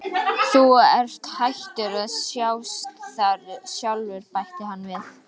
Þú ert hættur að sjást þar sjálfur bætti hann við.